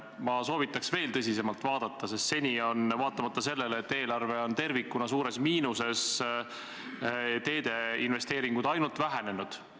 Ma soovitaks veel tõsisemalt vaadata, sest seni on – vaatamata sellele, et eelarve on tervikuna suures miinuses – teede investeeringud ainult vähenenud.